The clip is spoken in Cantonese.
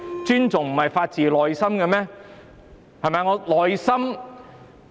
尊重不是發自內心嗎？